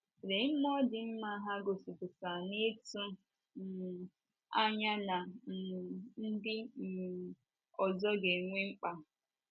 Lee mmụọ dị mma ha gosipụtara n’ịtụ um anya na um ndị um ọzọ ga - enwe mkpa!